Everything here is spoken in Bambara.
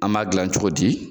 An m'a gilan cogo di?